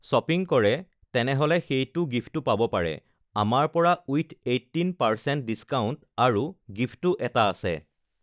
shopping কৰে তেনেহ'লে সেইটো গিফ্টো পাব পাৰে আমাৰ পৰা ওইথ এইটিন পাৰ্চেণ্ট ডিচকাউণ্ট আৰু গিফ্টো এটা আছে